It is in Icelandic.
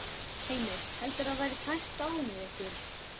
Heimir: Heldurðu að það verði tæpt á með ykkur?